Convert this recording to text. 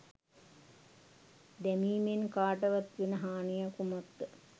දැමීමෙන් කාටවත් වෙන හානිය කුමක්ද?